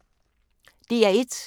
DR1